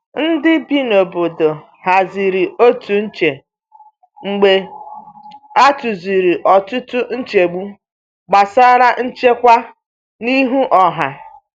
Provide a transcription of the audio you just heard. Ndị bi n’obodo haziri otu nche mgbe a tụziri ọtụtụ nchegbu gbasara nchekwa n’ihu ọha.